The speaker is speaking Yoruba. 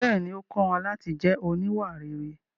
Bẹ́ẹ̀ni, ó kọ́ wọn láti jẹ́ oníwà rere.